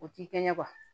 O t'i kɛ ɲɛ